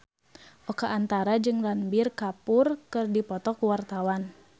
Oka Antara jeung Ranbir Kapoor keur dipoto ku wartawan